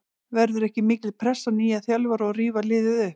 Verður ekki mikil pressa á nýjum þjálfara að rífa liðið upp?